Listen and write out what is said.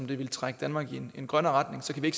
ville trække danmark i en mere grøn retning